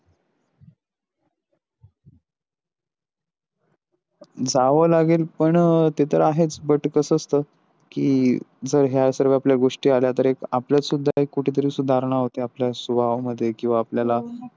जाव लागेल पण ते तर आहेच but कस असत कि जर ह्या सर्व आपल्या गोष्टी आल्या तर हे एक आपल्यात कुठतरी सुधारणा होते आपल्या स्वभावा मध्ये किवा आपल्याला .